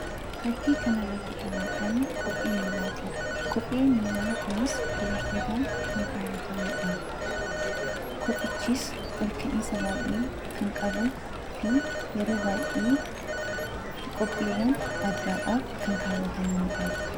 Fakkii kanarratti kan argamu kophee miillaati. Kophee miillan kunis dubartootaan kan kaawwatamudha. Kophichis ol ka'iinsa baay'ee kan qabuu fi yeroo baay'ee qophiiwwan addaadhaaf kan kaawwatamanidha.